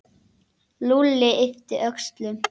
Lúlli yppti öxlum.